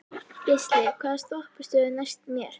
Geisli, hvaða stoppistöð er næst mér?